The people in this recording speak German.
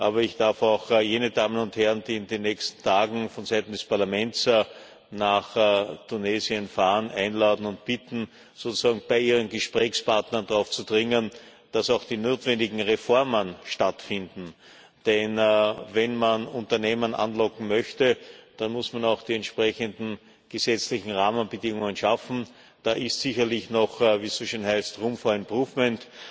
Aber ich darf auch jene Damen und Herren, die in den nächsten Tagen vonseiten des Parlaments nach Tunesien fahren, einladen und bitten, bei ihren Gesprächspartnern darauf zu dringen, dass auch die notwendigen Reformen stattfinden. Denn wenn man Unternehmen anlocken möchte, dann muss man auch die entsprechenden gesetzlichen Rahmenbedingungen schaffen. Da ist sicherlich noch wie es so schön heißt room for improvement